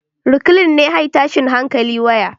Reclean ne high tashin hankali waya